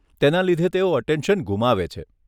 તેના લીધે તેઓ અટેન્શન ગુમાવે છે.